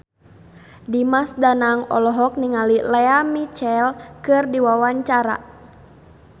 Dimas Danang olohok ningali Lea Michele keur diwawancara